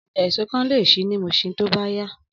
Ọjà èso kan lè ṣí ní Muṣin tó bá yá